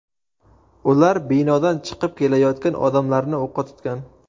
Ular binodan chiqib kelayotgan odamlarni o‘qqa tutgan.